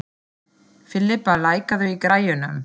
Filippa, lækkaðu í græjunum.